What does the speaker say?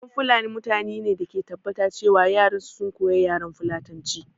Ƴan fulani mutane ne da ke tabbata ce wa yaran su sun koya yaran fulatanci